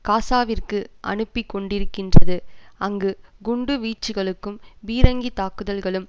காசாவிற்கு அனுப்பிக் கொண்டிருக்கின்றது அங்கு குண்டு வீச்சுக்களும் பீரங்கி தாக்குதல்களும்